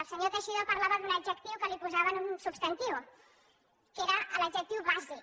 el senyor teixidó parlava d’un adjectiu que el posava a un substantiu que era l’adjectiu bàsic